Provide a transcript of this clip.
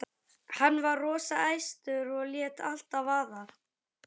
Hann var rosa æstur og lét allt vaða.